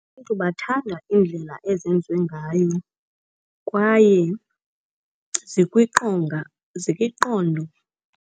Abantu bathanda iindlela ezenziwe ngayo kwaye zikwiqondo.